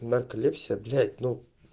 нарколепсия блять ну